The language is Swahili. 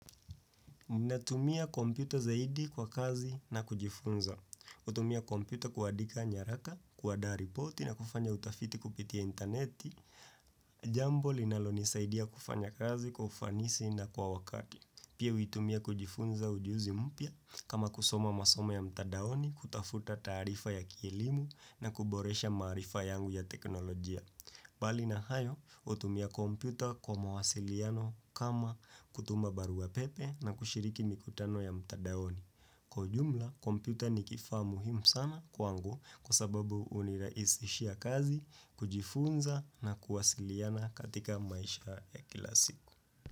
Ninatumia kompyuta zaidi kwa kazi na kujifunza. Hutumia kompyuta kuandika nyaraka, kuanda ripoti na kufanya utafiti kupitia intaneti. Jambo linaloni saidia kufanya kazi kufanisi na kwa wakati. Pia huitumia kujifunza ujuzi mpya kama kusoma masoma ya mtandaoni kutafuta taarifa ya kielimu na kuboresha maarifa yangu ya teknolojia. Bali na hayo, hutumia kompyuta kwa mawasiliano kama kutuma barua pepe na kushiriki mikutano ya mtandaoni. Kwa ujumla, kompyuta nikifaa muhimu sana kwangu kwa sababu hunirahisishia kazi, kujifunza na kuwasiliana katika maisha ya kila siku.